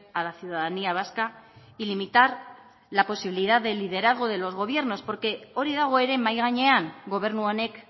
a la ciudadanía vasca y limitar la posibilidad de liderazgo de los gobiernos porque hori dago ere mahai gainean gobernu honek